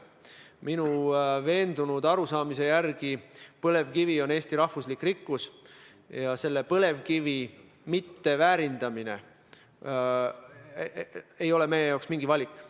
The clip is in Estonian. Minu veendunud arusaama järgi on põlevkivi Eesti rahva rikkus ja põlevkivi mitteväärindamine ei ole meie jaoks mingi valik.